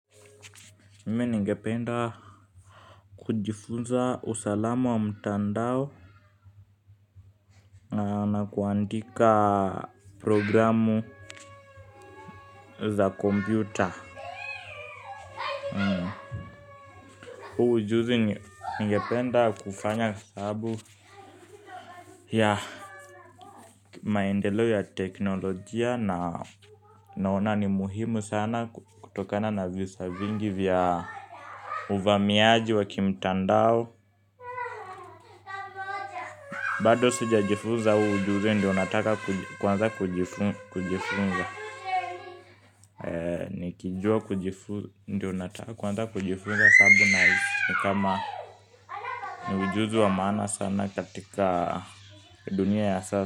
Mimi ningependa kujifunza usalama wa mtandao na kuandika programu za kompyuta. Huu ujuzi ningependa kufanya sababu ya maendelo ya teknolojia na naona ni muhimu sana kutokana na visa vingi vya uvamiaji wa kimtandao. Bado sijajifuza ujuzi ndio nataka kuanza kujifunza kujifunza nikijua kujifunza ndio nataka kujifunza sababu nahisi kama ni ujuzi wa maana sana katika dunia ya sasa.